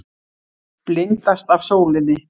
Blindast af sólinni.